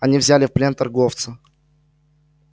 они взяли в плен торговца